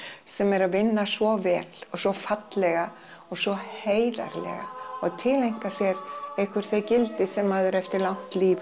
sem er að vinna svo vel og svo fallega og svo heiðarlega tileinka sér einhver þau gildi sem maður eftir langt líf